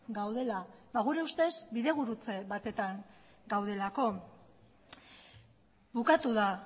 gaudela gure ustez bidegurutze batetan gaudelako bukatu da